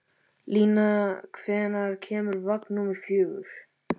Líni, hvenær kemur vagn númer fjögur?